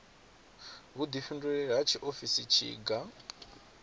vhuḓifhinduleli ha tshiofisi ndi tshiga